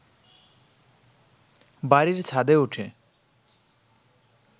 বাড়ির ছাদে উঠে